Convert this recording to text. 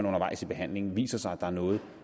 undervejs i behandlingen viser sig at der er noget